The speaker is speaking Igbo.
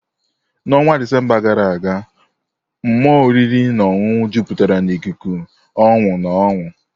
N'ọnwa Disemba gara aga, mmụọ oriri na ọṅụṅụ jupụtara n'ikuku ọṅụ na ọñụ.